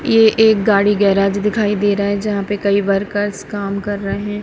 ये एक गाड़ी गैरेज दिखाई दे रहा है जहां पे कई वर्कर्स काम कर रहे --